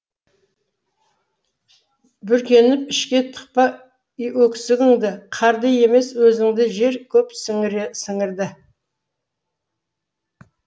бүркеніп ішке тықпа өксігіңді қарды емес өзіңді жер көп сіңірді